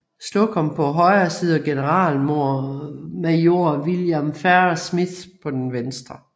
Slocum på højre side og generalmajor William Farrar Smith på den venstre